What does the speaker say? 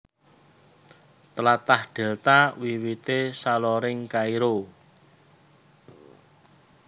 Tlatah Dèlta wiwité saloring Kairo